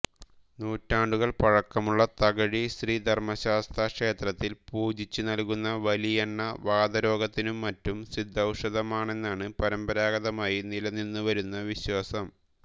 നൂറ്റാണ്ടുകൾ പഴക്കമുള്ള തകഴി ശ്രീ ധർമശാസ്താക്ഷേത്രത്തിൽ പൂജിച്ചു നല്കുന്ന വലിയെണ്ണ വാതരോഗത്തിനും മറ്റും സിദ്ധൌഷധമാണെന്നാണ് പരമ്പരാഗതമായി നിലനിന്നുവരുന്ന വിശ്വാസം